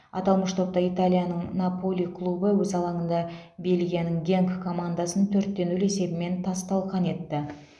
аталмыш топта италияның наполи клубы өз алаңында бельгияның генк командасын төртте нөл есебімен тас талқан етті